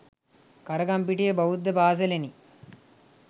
කරගම්පිටිය බෞද්ධ පාසලෙනි.